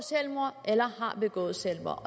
selvmord eller har begået selvmord